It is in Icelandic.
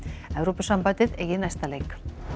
Evrópusambandið eigi næsta leik